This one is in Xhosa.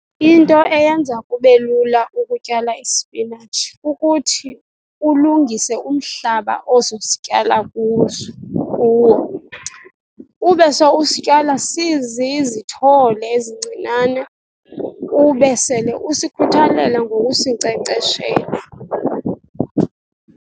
Into eyenza kube lula ukutyala isipinatshi kukuthi ulungise umhlaba ozosityala kuso kuwo. Ube se usityala sizizithole ezincinane, ube sele usikhuthalela ngokusinkcenkceshela.